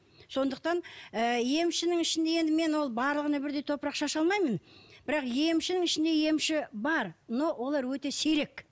сондықтан ы емшінің ішінде енді мен ол барлығына бірдей топырақ шаша алмаймын бірақ емшінің ішінде емші бар но олар өте сирек